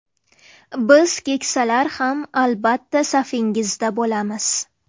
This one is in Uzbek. Biz keksalar ham, albatta, safingizda bo‘lamiz.